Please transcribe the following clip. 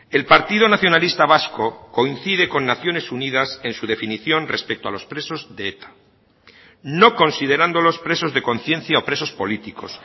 el partido nacionalista vasco coincide con naciones unidas en su definición respecto a los presos de eta no considerándolos presos de conciencia o presos políticos